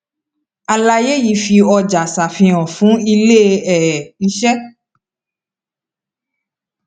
àlàyé yìí fi ọjà ṣàfihàn fún ilé um iṣẹ